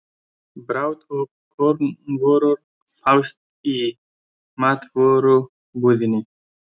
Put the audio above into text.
Brauð og kornvörur fást í matvörubúðinni.